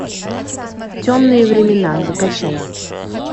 темные времена закачай